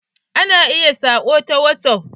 Ana iya saƙo ta whatsaff.